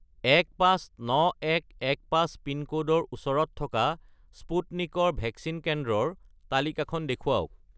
159115 পিনক'ডৰ ওচৰত থকা স্পুটনিক ৰ ভেকচিন কেন্দ্ৰৰ তালিকাখন দেখুৱাওক